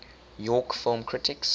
york film critics